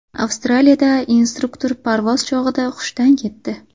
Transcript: Avstraliyada instruktor parvoz chog‘ida hushdan ketdi.